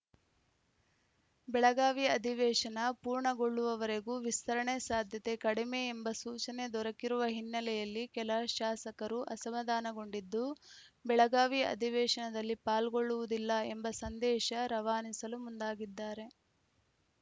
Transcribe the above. ಬೆಳಗಾವಿ ಅಧಿವೇಶನ ಪೂರ್ಣಗೊಳ್ಳುವವರೆಗೂ ವಿಸ್ತರಣೆ ಸಾಧ್ಯತೆ ಕಡಿಮೆ ಎಂಬ ಸೂಚನೆ ದೊರಕಿರುವ ಹಿನ್ನೆಲೆಯಲ್ಲಿ ಕೆಲ ಶಾಸಕರು ಅಸಮಾಧಾನಗೊಂಡಿದ್ದು ಬೆಳಗಾವಿ ಅಧಿವೇಶನದಲ್ಲಿ ಪಾಲ್ಗೊಳ್ಳುವುದಿಲ್ಲ ಎಂಬ ಸಂದೇಶ ರವಾನಿಸಲು ಮುಂದಾಗಿದ್ದಾರೆ